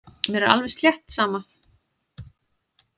Mér er alveg slétt sama.